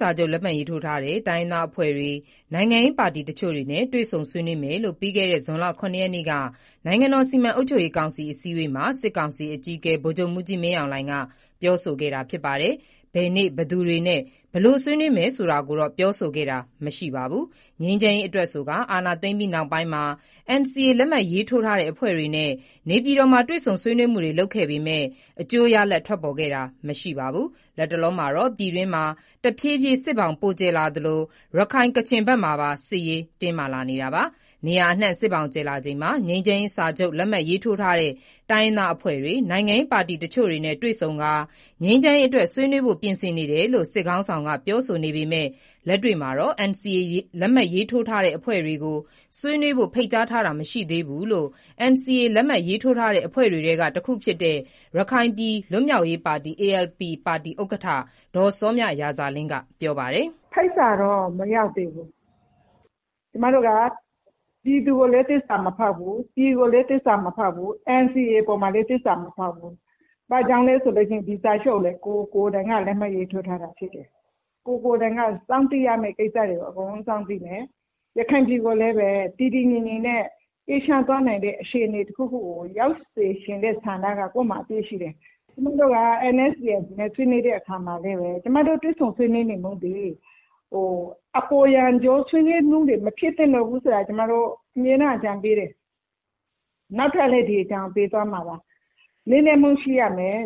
စာချုပ် လက်မှတ်ထိုးထားတဲ့ တိုင်းရင်းသားအဖွဲ့တွေ၊ နိုင်ငံရေးပါတီတချို့နဲ့ တွေ့ဆုံ ဆွေးနွေးမယ်လို့ ပြီးခဲ့တဲ့ ဇွန် ၇ ရက်နေ့ က နိုင်ငံတော်စီမံအုပ်ချုပ်ရေးကောင်စီ အစည်းအဝေးမှာ စစ်ကောင်စီအကြီးအကဲ ဗိုလ်ချုပ်မှုးကြီးမင်းအောင်လှိုင်က ပြောဆိုခဲ့တာဖြစ်ပါတယ်။ ဘယ်နေ့ဘယ်သူတွေနဲ့ ဘယ်လိုဆွေးနွေးမလဲဆိုတာကိုတော့ ပြောဆိုခဲ့တာမရှိပါဘူး။ ငြိမ်းချမ်းရေးအတွက်ဆိုကာ အာဏာသိမ်းပြီးနောက်ပိုင်းမှာ NCA လက်မှတ်ထိုးထားတဲ့ အဖွဲ့ တွေနဲ့ နေပြည်တော်မှာတွေ့ဆုံမှုတွေ လုပ်ခဲ့ပေမယ့် အကျိုးရလဒ်ထွက်ပေါ်ခဲ့တာမရှိပါဘူး။ လတ်တလောမှာတော့ ပြည်တွင်းမှာ တဖြေးဖြေးစစ်ဘောင်ပိုကျယ်လာသလို ရခိုင်၊ ကချင်ဘက်မှာ စစ်ရေးတင်းမာလာနေတာပါ။ နေရာအနှံ စစ်ဘောင်ကျယ်လာချိန်မှာ ငြိမ်းချမ်းရေးစာချုပ် လက်မှတ်ထိုးထားတဲ့ တိုင်းရင်းသား အဖွဲ့ တွေ၊ နိုင်ငံရေးပါတီတချို့နဲ့ တွေ့ဆုံကာငြိမ်းချမ်း ရေးအတွက် ဆွေးနွေးဖို့ပြင်ဆင်နေတယ်လို့ စစ်ခေါင်း ဆောင်ပြောဆိုနေပေမယ့် လက်တွေ့မှာတော့ NCA လက်မှတ်ထိုးထားတဲ့ အဖွဲ့ တွေကို ဆွေးနွေး ဖို့ဖိတ်ကြားထားတာမရှိသေးဘူးလို့ NCA လက်မှတ်ထိုးထားတဲ့ အဖွဲ့တွေထဲက ရခိုင်ပြည်လွတ် မြောက် ရေး ပါတီ ALP ဥက္ကဋ္ဌ စောမြရာဇာလင်းကပြောပါတယ်။ "ဖိတ်စာတော့မရောက်သေးဘူး။ ကျမတို့ကပြည်သူကိုလည်းသစ္စာမဖောက်ဘူး။ ပြည်ကိုလည်းသစ္စာမ ဖောက်ဘူး။ NCA အပေါ်မှာလည်းသစ္စာမဖောက်ဘူး။ ဒါကြောင့်လည်းဒီစာချုပ်ကိုကိုယ်ကိုတိုင်က လက်မှတ်ရေးထိုးထားတာဖြစ်တယ်။ ကိုယ်ကိုတိုင်ကစောင့်သိရမယ့်ကိစ္စတွေအကုန်စောင့်သိတယ်။ ရ ခိုင်ပြည်နယ်ကိုလည်းတည်တည်ငြိမ်ငြိမ်နဲ့အေးချမ်းသွားမယ့်အခြေအနေတခုကို ရောက်စေချင်တဲ့ဆန္ဒ ကကိုယ့်မှာအပြည့်ရှိတယ်။ ကျမတို့တွေ့ဆုံဆွေးနွေးတဲ့အခါမှာလည်းဘဲ ကျမတို့ဆွေးနွေးမှုဟာအပေါ် ယံကျောမဖြစ်သင့်တော့ဘူးဆိုတာအမြဲအကြံပေးတယ်။ နောက်လဲဒီအကြံကိုပေးမှာပါ။ လေးနက်မှုရှိရ မယ်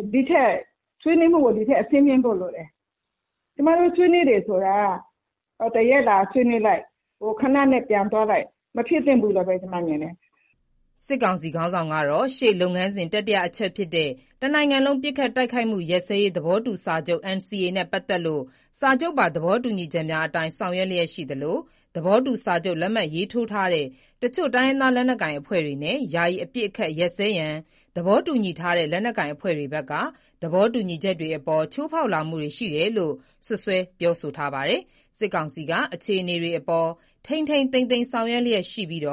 ဆွေးနွေးမှုကိုဒီထပ်အဆင့်မြင့်ဖို့လိုတယ်။ ကျမတို့ဆွေးနွေးတာက ဘာသာရပ်ကိုလာဆွေးနွေး လိုက်ခဏနဲ့ပြန်သွားလိုက် မဖြစ်သင့်တော့ဘူးလို့ဘဲကျမမြင်တယ်။" စစ်ကောင်စီခေါင်းဆောင်ကတော့ ရှေ့လုပ်ငန်းစဉ် တတိယအချက်ဖြစ်တဲ့ တနိုင်ငံလုံးပစ်ခတ်တိုက်ခိုက်မှု ရပ်စဲရေး သဘောတူစာချုပ် နှင့်ပတ် သက်လို့ စာချုပ်ပါသဘော တူညီချက်များအတိုင်း ဆောင်ရွက်လျက်ရှိသလို သဘောတူစာချုပ်လက်မှတ်ရေး ထိုးထားတဲ့ တချို့တိုင်းရင်းသားလက်နက် ကိုင်အဖွဲ့တွေနဲ့ ယာယီအပစ် အခတ်ရပ်စဲရန်သဘောတူညီထားတဲ့ လက်နက်ကိုင်အဖွဲ့တွေဘက်က သဘောတူညီ ချက်များအပေါ် ချိုးဖောက်လာမှုတွေရှိတယ်လို့ စွပ်စွဲပြောဆိုထားပါတယ်။ စစ်ကောင်စီ က အခြေအနေတွေအပေါ်ထိန်းထိန်း သိမ်းသိမ်း ဆောင်ရွက်လျက်ရှိပြီး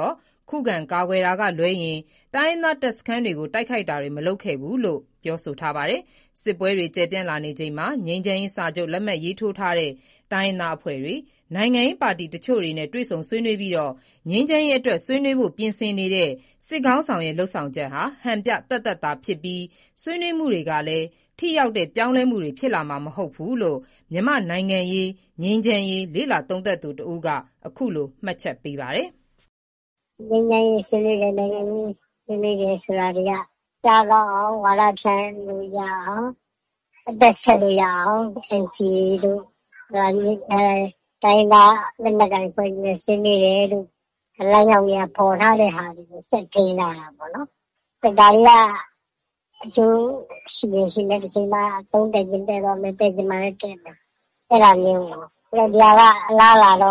ခုခံကာကွယ်တာကလွဲရင် တိုင်းရင်းသားတပ်စခန်းတွေကို တိုက်ခိုက်တာတွေ မလုပ်ခဲ့ဘူးလို့ ပြောဆိုထားပါတယ်။ စစ်ပွဲတွေကျယ်ပြန့်လာချိန်မှာ ငြိမ်းချမ်း ရေးစာချုပ် လက်မှတ်ထိုးထားတဲ့ တိုင်းရင်း သားအဖွဲ့တွေ၊ နိုင်ငံရေးပါတီတချို့နဲ့ တွေ့ဆုံကာငြိမ်းချမ်း ရေးအတွက် ဆွေးနွေးဖို့ ပြင်ဆင်နေတဲ့ စစ် ခေါင်းဆောင်လုပ်ဆောင်ချက်က ဟန်ပြသက်သက်သာဖြစ်ပြီး ဆွေးနွေးမှုတွေကလည်း ထိရောက်တဲ့ ပြောင်းလဲမှုတွေဖြစ်လာမှာမဟုတ်ဘူးလို့ မြန်မာ့နိုင်ငံရေးငြိမ်းချမ်းရေးလေ့လာသုံးသပ်သူတဦးက အခု လိုမှတ်ချက်ပေးပါတယ်။ "ငြိမ်းချမ်းရေးဆွေးနွေးတယ် နိုင်ငံရေးဆွေးနွေးတယ်ဆိုတာတွေက ကြားကောင်းအောင်ဝါဒဖြန့်လို့ရ အောင် အသက်ဆက်လို့ရအောင် NCA တို့ တိုင်းရင်းသားလက်နက်ကိုင်တို့နဲ့ဆွေးနွေးတယ်တို့ လမ်း ကြောင်းတွေဖော်ထားတာကို ဆက်ထိန်းထားတာပေါ့။ ဒါတွေကအကျိူးရှိရင်ရှိမယ်။ တချိန်မှာအသုံး တည့်ရင်တည့်မယ် တည့်ချင်မှလည်းတည့်မယ် ဒါကအလားအလာအရ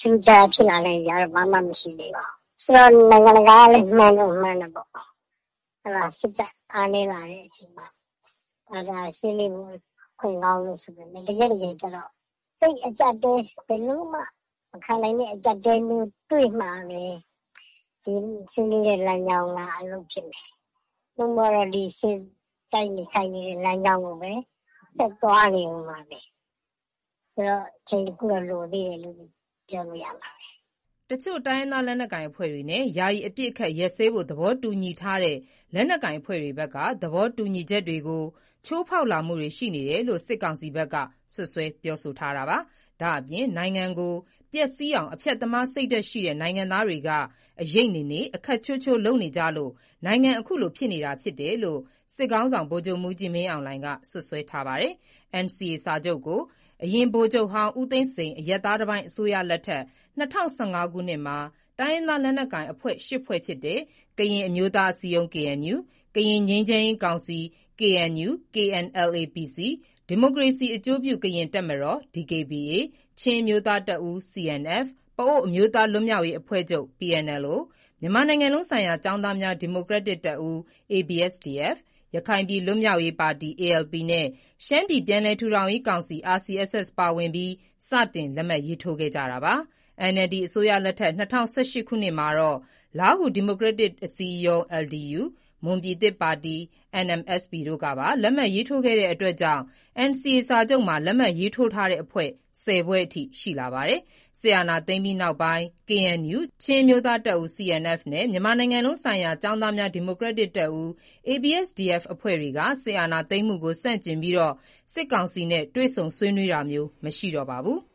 ထူးထူးခြားခြားဖြစ်လာနိုင်စရာ မရှိသေးဘူး။ ဆိူတော့နိုင်ငံတကာကလည်းမှန်းတော့မှန်းတယ်ပေါ့။ စစ်တပ်အားနည်းလာချိန်မှာ ဆွေး နွေးမှုအခွင့်ကောင်းဆိုပေမယ့် တကယ်တကယ် ကျတော့သိပ်အကြပ်အတည်းဘယ်လိုမှ မခံနိုင်တဲ့ အကြပ်အတည်းမျိုးတွေ့မှဘဲ ဒီဆွေးနွေးတဲ့လမ်းကြောင်းကအလုပ်ဖြစ်မယ်။ နို့မို့ကတော့တိုက်နေ ခိုက်နေတဲ့လမ်းကြောင်းကိုဆက်သွားနေဦးမှာဘဲ။ ဆိုတော့အချိန်တခုလိုတုန်းဘဲလို့ပြောလို့ရမှာပါ။" တချို့တိုင်းရင်းသားလက်နက်ကိုင်အဖွဲ့တွေနဲ့ ယာယီအပစ်အခတ် ရပ်စဲဖို့ သဘောတူညီထားတဲ့ လက်နက်ကိုင်အဖွဲ့တွေဘက်က သဘောတူညီချက်တွေကို ချိုးဖောက်လာ မှုတွေရှိတယ်လို့ စစ်ကောင်စီဘက်က စွပ်စွဲပြောဆိုထားတာပါ။ ဒါအပြင် နိုင်ငံကိုပျက်စီးအောင် အဖျက်သမားစိတ်ဓါတ်ရှိတဲ့ နိုင်ငံသားတွေက “အရိပ် နေနေ၊ အခက်ချိုးချိုး” လုပ်နေကြလို့ နိုင်ငံအခုလိုဖြစ်နေတာဖြစ်တယ်လို့ စစ်ခေါင်းဆောင် ဗိုလ်ချုပ်မှူးကြီးမင်းအောင်လှိုင်က စွပ်စွဲထားပါတယ်။ NCA စာချုပ်ကို ဗိုလ်ချုပ်ဟောင်း ဦးသိန်းစိန် အရပ်သားတပိုင်းအစိုးရလက်ထက် ၂၀၁၅ ခုနှစ်မှာ တိုင်းရင်းသားလက်နက်ကိုင် အဖွဲ့ ရှစ်ဖွဲ့ဖြစ်တဲ့ကရင်အမျိုးသားအစည်းအရုံး KNU၊ ကရင်ငြိမ်းချမ်းရေးကောင်စီ KNU/ KNLA-PC)၊ ဒီမိုကရေစီအကျိုးပြု ကရင်တပ်မတော် DKBA၊ ချင်းအမျိုးသားတပ်ဦး CNF၊ ပအိုဝ်းအမျိုးသားလွတ် မြောက်ရေးအဖွဲ့ချုပ် PNLO၊ မြန်မာနိုင်ငံလုံးဆိုင်ရာ ကျောင်းသားများ ဒီမိုကရက်တစ်တပ်ဦး ABSDF၊ ရခိုင်ပြည်လွတ်မြောက်ရေးပါတီ ALP နဲ့ ရှမ်းပြည်ပြန်လည် ထူထောင်ရေးကောင်စီ RCSS ပါဝင်ပြီး စတင် လက်မှတ်ရေးထိုးခဲ့ကြတာပါ။ NLD အစိုးရလက်ထက် ၂၀၁၈ ခုနှစ်မှာတော့ လားဟူဒီမိုကရက်တစ်အစည်းအရုံး ၊ မွန်ပြည်သစ်ပါတီ တို့ပါ လက်မှတ်ရေးထိုးခဲ့တာကြောင့် NCA စာချုပ်မှာ လက်မှတ်ထိုးထား တဲ့အဖွဲ့ ဆယ်ဖွဲ့ ရှိလာပါတယ်။ စစ်အာဏာသိမ်းပြီးနောက်ပိုင်း KNU ၊ ချင်းအမျိုးသား တပ်ဦး CNF နဲ့ မြန်မာနိုင်ငံလုံးဆိုင်ရာ ကျောင်းသားများ ဒီမိုကရက်တစ်တပ်ဦး ABSDF အဖွဲ့တွေက စစ်အာဏာသိမ်းမှုကို ဆန့်ကျင်ပြီး စစ်ကောင်စီနဲ့ တွေ့ဆုံဆွေးနွေးတာမျိုး မရှိတော့ပါဘူး။